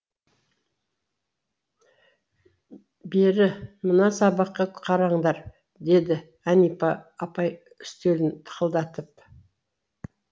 бері мына сабаққа қараңдар деді әнипа апай үстелін тықылдатып